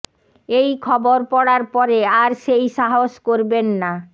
এই খবর পড়ার পরে আর সেই সাহস করবেন না